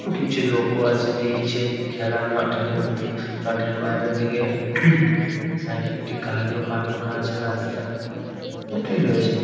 কিছু লোকও আছে দেখছে খেলার মাঠের মধ্যে মাঠের বাইরে থেকে -এ একটি গাড়িও পাঁক করা রয়েছে রাস্তায় এটাই রয়েছে ।